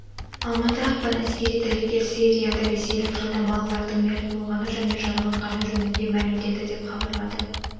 алматы ақпан әскери дәрігер сирияда ресейлік жалдамалылардың мерт болғаны және жараланғаны жөнінде мәлімдеді деп хабарлады